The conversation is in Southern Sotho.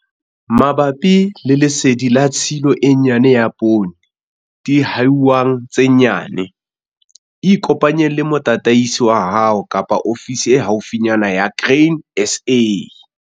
Mabapi le lesedi la tshilo e nyane ya poone dihwaing tse nyane, ikopanye le motataisi wa hao kapa ofisi e haufinyana ya Grain SA.